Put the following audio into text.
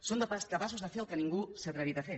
són capaços de fer el que ningú s’ha atrevit a fer